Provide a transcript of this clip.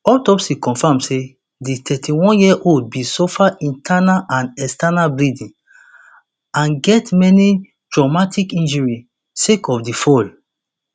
autopsy confam say di thirty-oneyearold bin suffer internal and external bleeding and get many traumatic injuries sake of di fall